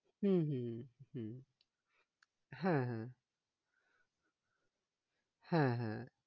হম হম হম হ্যাঁ হ্যাঁ হ্যাঁ হ্যাঁ